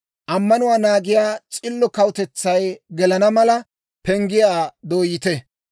Ammanuwaa naagiyaa s'illo kawutetsay gelana mala, penggiyaa dooyite.